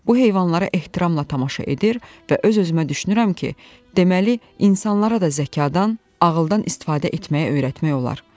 Bu heyvanlara ehtiramla tamaşa edir və öz-özümə düşünürəm ki, deməli, insanlara da zəkan, ağıldan istifadə etməyi öyrətmək olar.